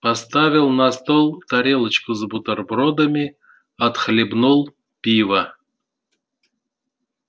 поставил на стол тарелочку с бутербродами отхлебнул пива